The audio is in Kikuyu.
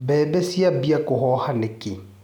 Mbembe ciambia kũhoha nĩkĩ.